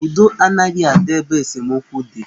Udo anaghị adị ebe esemokwu dị.